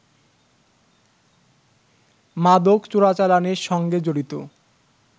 মাদক চোরাচালানের সঙ্গে জড়িত